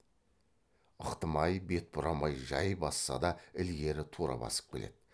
ықтымай бет бұрамай жай басса да ілгері тура басып келеді